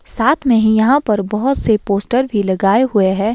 साथ में ही यहां पर बहोत से पोस्टर भी लगाए हुए हैं।